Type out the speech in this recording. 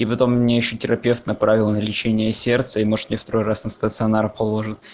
и потом мне ещё терапевт направил на лечение сердца и может меня второй раз на стационар положат